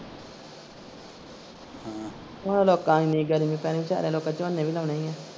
ਲੋਕਾਂ ਦੀ ਏਨੀ ਗਰਮੀ ਪੈਣੀ ਤੇ ਹੱਲੇ ਲੋਕਾਂ ਨੇ ਝੋਨੇ ਵੀ ਲਾਉਣੇ ਈ ਆ।